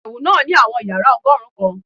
Iyẹwu naa ni awọn yara ọgọrun kan